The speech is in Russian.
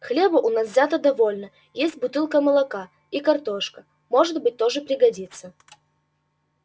хлеба у нас взято довольно есть бутылка молока и картошка может быть тоже пригодится